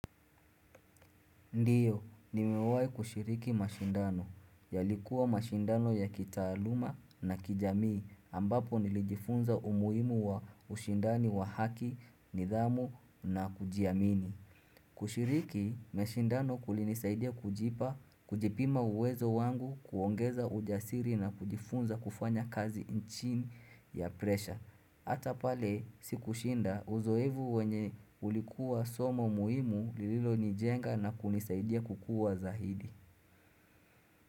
Ndiyo, nimewai kushiriki mashindano. Yalikuwa mashindano ya kitaaluma na kijamii ambapo nilijifunza umuhimu wa ushindani wa haki, nidhamu na kujiamini. Kushiriki mashindano kulinisaidia kujipa, kujipima uwezo wangu kuongeza ujasiri na kujifunza kufanya kazi chini ya presha. Hata pale sikushinda uzoefu wenye ulikuwa somo muhimu lililo nijenga na kunisaidia kukua zaidi.